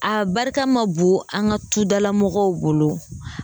A barika ma bon an ŋa tudala mɔgɔw bolo